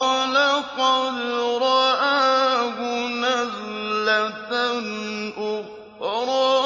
وَلَقَدْ رَآهُ نَزْلَةً أُخْرَىٰ